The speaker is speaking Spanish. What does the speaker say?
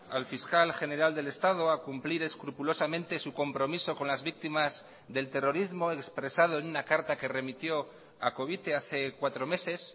al fiscal general del estado a cumplir escrupulosamente su compromiso con las víctimas del terrorismo expresado en una carta que remitió a covite hace cuatro meses